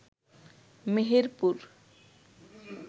Meherpur